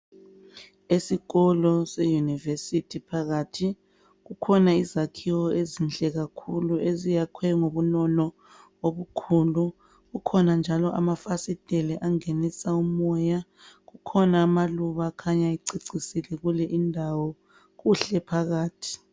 Esikolo se university phakathi, kukhona izakhiwo ezinhle kakhulu eziyakhwe ngobunono obukhulu. Kukhona njalo amafasitele angenisa umoya. Kukhona amaluba akhanya ececisile kule indawo. Kuhle phakathi.